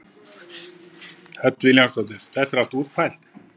Hödd Vilhjálmsdóttir: Þetta er allt útpælt?